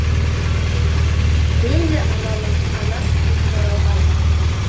мен де анамын ана сүтінен жаралғанмын